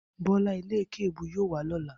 Bó̩lá e̩lé̩kè̩é̩-èébú yóò wá ló̩la